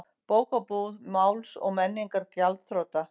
Bókabúð Máls og menningar gjaldþrota